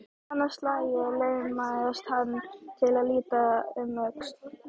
Annað slagið laumaðist hann til að líta um öxl.